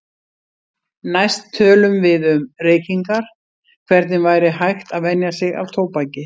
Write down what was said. Næst tölum við um reykingar, hvernig væri hægt að venja sig af tóbaki.